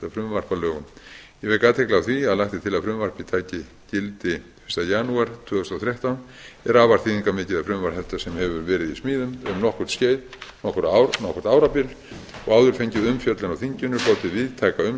að lögum ég vek athygli á því að lagt er til að frumvarpið taki gildi fyrsta janúar tvö þúsund og þrettán er afar þýðingarmikið að frumvarp þetta sem hefur verið í smíðum um nokkurt árabil og hefur áður fengið umfjöllun á þinginu hlotið víðtæka